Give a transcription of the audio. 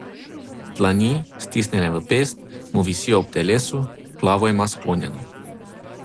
Dlani, stisnjene v pest, mu visijo ob telesu, glavo ima sklonjeno.